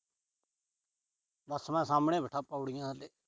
ਬਸ ਮੈਂ ਸਾਹਮਣੇ ਬੈਠਾ ਪੌੜੀਆਂ ਤੇ।